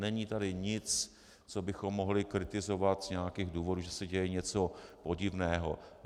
Není tady nic, co bychom mohli kritizovat z nějakých důvodů, že se děje něco podivného.